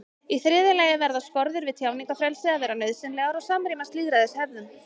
í þriðja lagi verða skorður við tjáningarfrelsi að vera nauðsynlegar og samrýmast lýðræðishefðum